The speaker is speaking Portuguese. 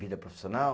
Vida profissional?